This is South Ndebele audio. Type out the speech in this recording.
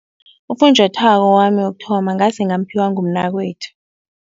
Ufunjathwako wami wokuthoma ngase ngamphiwa ngumnakwethu.